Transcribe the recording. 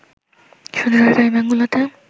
শুধু সরকারি ব্যাংকগুলোতে